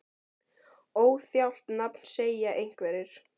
Óþjált nafn segja einhverjir?